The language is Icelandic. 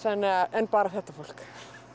en bara þetta fólk